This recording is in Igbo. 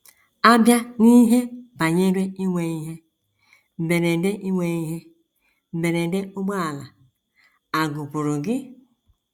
A bịa n’ihe banyere inwe ihe mberede inwe ihe mberede ụgbọala, à gụpụrụ gị?